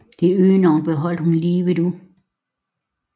Det øgenavn beholdt hun livet ud